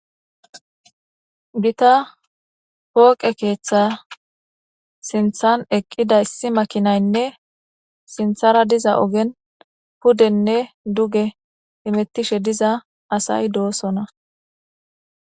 bita pooqe keeththa sinthan eqqida issi makinaynne sinthara diza ogen pudenne duge imettishe diza asay doosona